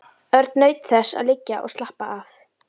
Örn naut þess að liggja og slappa af.